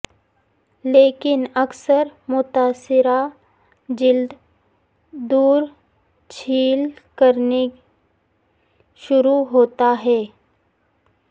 لیکن اکثر متاثرہ جلد دور چھیل کرنے شروع ہوتا ہے